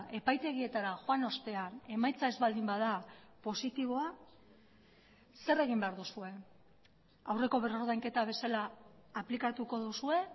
epaitegietara joan ostean emaitza ez baldin bada positiboa zer egin behar duzue aurreko berrordainketa bezala aplikatuko duzue